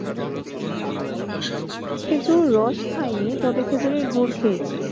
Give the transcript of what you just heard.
খেজুর রস খাইনি তবে খেজুরের গুড় খেয়েছি।